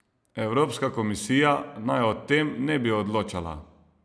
Evropska komisija naj o tem ne bi odločala.